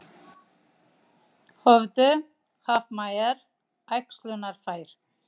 Höfðu hafmeyjar æxlunarfæri?